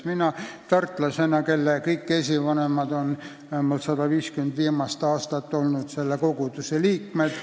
Mina olen tartlane, kelle kõik esivanemad on vähemalt 150 viimast aastat olnud selle koguduse liikmed.